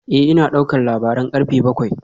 Eh ina daukar labaran karfe bakwai